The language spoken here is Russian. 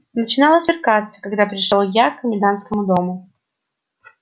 начинало смеркаться когда пришёл я к комендантскому дому